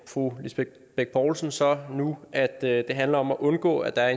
fru lisbeth bech poulsen så nu at det handler om at undgå at der er